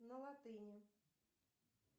на латыни